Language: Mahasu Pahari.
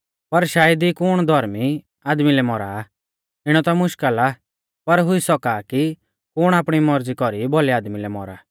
पर शायद ई कुण धौर्मी आदमी लै मौरा इणौ ता मुश्कल़ आ पर हुई सौका आ कि कुण आपणी मौरज़ी कौरी भौलै आदमी लै मौरा